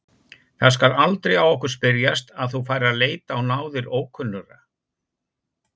Það skal aldrei á okkur spyrjast að þú farir að leita á náðir ókunnugra.